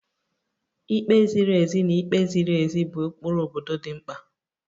Ikpe ziri ezi na ikpe ziri ezi bụ ụkpụrụ obodo dị mkpa